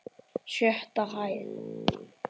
Sjötta hæð.